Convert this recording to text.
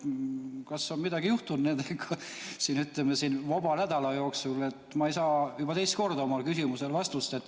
Kas on midagi juhtunud nendega siin vaba nädala jooksul, et ma ei saa juba teist korda oma küsimusele vastust?